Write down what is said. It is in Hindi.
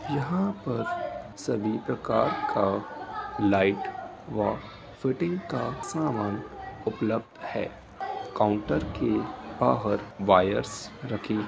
यहां पर सभी प्रकार का लाइट व फिटिंग का सामान उपलब्ध है | काउंटर के बाहर वायर्स रखें --